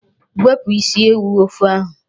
Wepụ isi ewu n'ofe ahụ.